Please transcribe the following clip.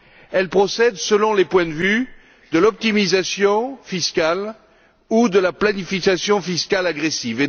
Elle procède, selon les points de vue, de l'optimisation fiscale ou de la planification fiscale agressive.